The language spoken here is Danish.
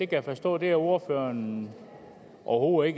kan forstå at ordføreren overhovedet